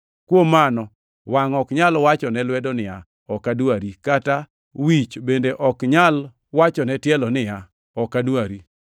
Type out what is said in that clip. Kuom mano wangʼ ok nyal wachone lwedo niya, “Ok adwari!” Kata wich bende ok nyal wachone tielo niya, “Ok adwari.”